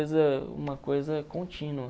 uma coisa contínua.